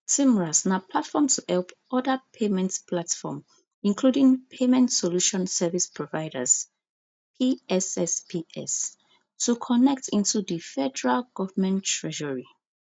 tmras na platform to help oda payment platform including payment solution service providers pssps to connect into di federal government treasury